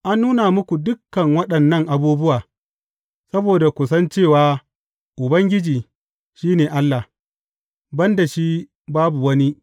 An nuna muku dukan waɗannan abubuwa saboda ku san cewa Ubangiji, shi ne Allah; ban da shi, babu wani.